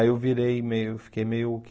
Aí eu virei meio, fiquei meio